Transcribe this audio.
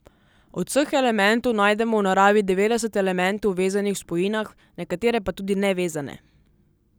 Od vseh elementov najdemo v naravi devetdeset elementov vezanih v spojinah, nekatere pa tudi nevezane.